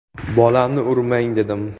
Bolamni urmang, dedim.